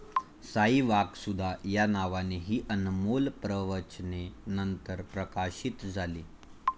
साई वाकसुधा' या नावाने ही अनमोल प्रवचने नंतर प्रकाशित झाली.